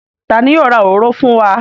Ta ni yóò ra òróró fún wa?